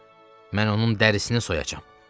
Mən onun dərisini soyacam.